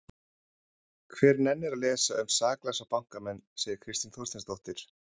Hver nennir að lesa um saklausa bankamenn? segir Kristín Þorsteinsdóttir.